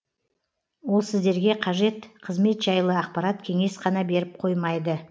ол сіздерге қажет қызмет жайлы ақпарат кеңес қана беріп қоймайды